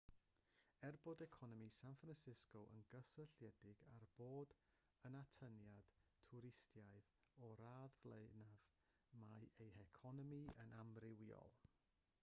er bod economi san francisco yn gysylltiedig â bod yn atyniad twristaidd o'r radd flaenaf mae ei heconomi yn amrywiol